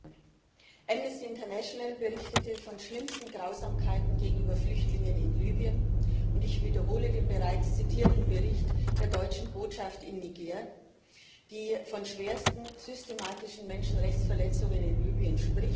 Herr Präsident! Amnesty International berichtete von schlimmsten Grausamkeiten gegenüber Flüchtlingen in Libyen, und ich wiederhole den bereits zitierten Bericht der Deutschen Botschaft in Niger, die von schwersten systematischen Menschenrechtsverletzungen in Libyen spricht.